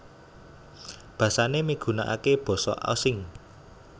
Basané migunakaké Basa Osing